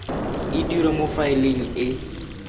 e dirwa mo faeleng e